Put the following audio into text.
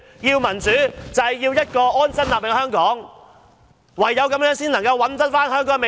要求民主，就是要有一個安身立命的香港，唯有這樣才能找回香港的未來。